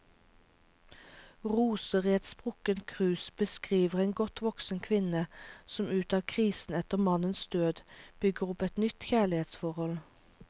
Roser i et sprukket krus beskriver en godt voksen kvinne som ut av krisen etter mannens død, bygger opp et nytt kjærlighetsforhold.